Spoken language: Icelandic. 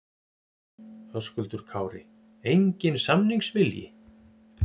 Höskuldur Kári: Enginn samningsvilji?